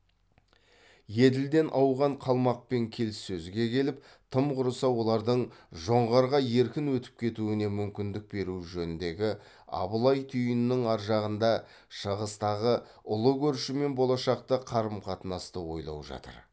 еділден ауған қалмақпен келіссөзге келіп тым құрыса олардың жоңғарға еркін өтіп кетуіне мүмкіндік беру жөніндегі абылай түйінінің аржағында шығыстағы ұлы көршімен болашақты қарым қатынасты ойлау жатыр